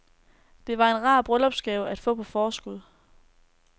Det var en rar bryllupsgave at få på forskud.